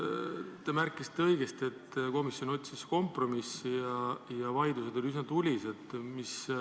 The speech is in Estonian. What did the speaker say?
Te märkisite õigesti, et komisjon otsis kompromissi ja vaidlused olid üsna tulised.